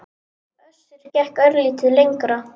Össur gekk örlítið lengra.